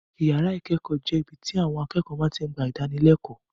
Yàrá ìkẹ́kọ̀ọ́ jẹ́ ibi tí àwon akẹ́kọ̀ọ́ ti ń gba ìdánilẹ́kọ̀ọ́.